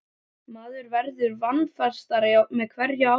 Maður verður vanafastari með hverju árinu.